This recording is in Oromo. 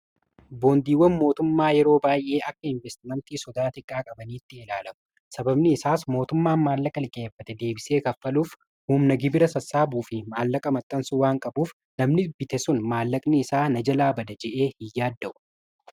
Boondiiwwan mootummaa yeroo baay'ee akka investimentii sodaa Xiqqaa qabaniitti ilaalamu. Sababni isaas mootummaan maallaqa liqeeffate deebisee kaffaluuf humna gibira sassaabuufi maallaqa maxxansu waan qabuuf namni bite sun maallaqni isaa na jalaa bada je'ee hin yaadda'u